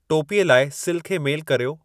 टोपीअ लाइ सिल खे मेलु कर्यो